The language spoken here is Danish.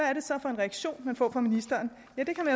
er det så for en reaktion man får fra ministeren ja det kan